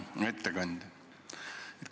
Hea ettekandja!